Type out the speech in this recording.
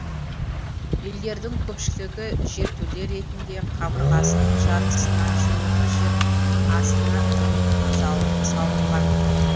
үйлердің көпшілігі жертөле ретінде қабырғасының жартысына жуығы жер астына үңіп салынған